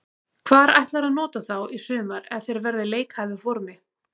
Hvar ætlarðu að nota þá í sumar ef þeir verða í leikhæfu formi?